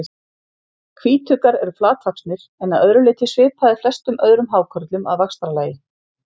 Hvítuggar eru flatvaxnir en að öðru leyti svipaðir flestum öðrum hákörlum að vaxtarlagi.